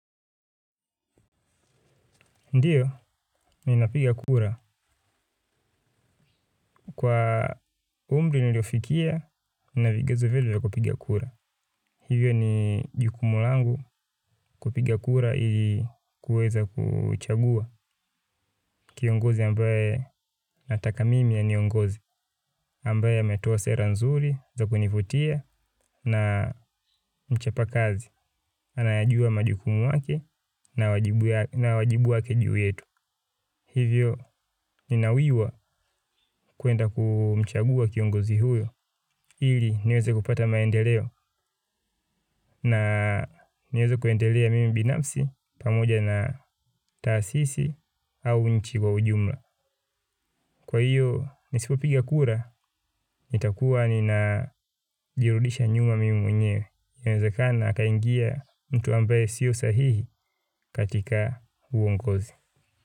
Ndiyo, ninapiga kura. Kwa umri niliofikia, nina vigezo vyote vya kupiga kura. Hivyo ni jukumu langu. Kupiga kura ili kuweza kuchagua kiongozi ambaye nataka mimi aniongoze ambaye ametoa sera nzuri za kunivutia na mchapa kazi. Anayajua majukumu yake na wajibu wake juu yetu. Hivyo ninawiwa kuenda kumchagua kiongozi huyo. Ili niweze kupata maendeleo. Na niweze kuendelea mimi binafsi pamoja na taasisi au nchi kwa ujumla. Kwa hiyo nisipopiga kura, nitakuwa ninajirudisha nyuma mimi mwenyewe. Inawezekana akaingia mtu ambaye sio sahihi katika uongozi.